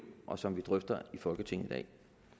og som vi drøfter i folketinget i dag